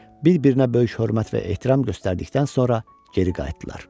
Bir-birinə böyük hörmət və ehtiram göstərdikdən sonra geri qayıtdılar.